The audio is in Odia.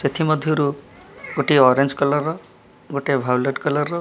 ସେଠି ମଧ୍ୟ ରୁ ଗୋଟିଏ ଓରେଞ୍ଜ କଲର୍ ର ଗୋଟେ ଭାୟୋଲଟ୍ କଲର୍ ର --